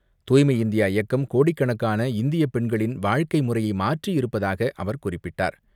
தூய்மை இந்தியா இயக்கம் கோடிக்கணக்கான இந்திய பெண்களின் வாழ்க்கை முறையை மாற்றியிருப்பதாக அவர் குறிப்பிட்டார்.